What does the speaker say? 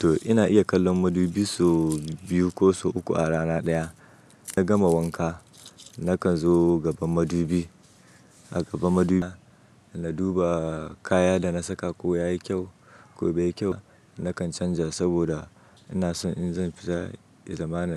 To ina iya kallon madubi so biyu ko so uku a rana ɗaya. Na gama wanka nakan zo gaban madubi. A gaban madubin na duba kaya da na saka ko yayi kyau, ko bai yi kyau nakan canja saboda ina so in zan fita yazamana.